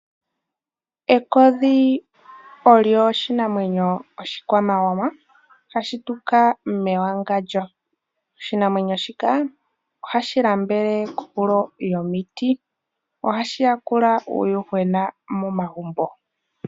Ekodhi olyo oshinamwenyo oshikwamawawa hashi tuka mewangandjo. Oshinamwenyo shika ohashi lambele kohulo yomiti, ohashi yakula uuyuhwena momagumbo.